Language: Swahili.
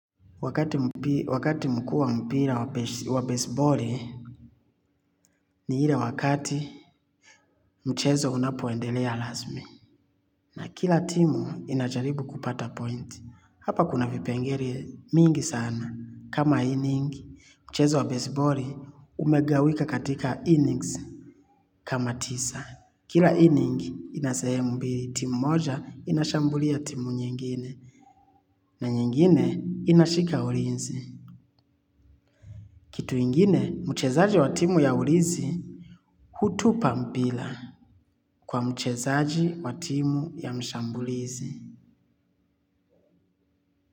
Wakati mkuu wa mpira wa baseballi ni ile wakati mchezo unapoendelea rasmu. Na kila timu inajaribu kupata point. Hapa kuna vipengele mingi sana. Kama inning, mchezo wa baseballi umegawika katika innings. Kama tisa, kila inning ina sehemu mbili. Timu moja inashambulia timu nyingine. Na nyingine inashika ulinzi. Kitu ingine, mchezaaji wa timu ya ulizi hutupa mpira kwa mchezaaji wa timu ya mshambulizi.